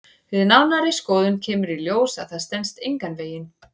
Við nánari skoðun kemur í ljós að það stenst engan veginn.